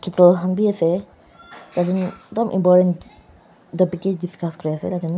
baham bi ase tah eman important topic ke discuss kuri ase la langan.